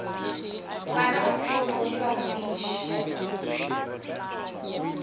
bana ba sekolo le barutiši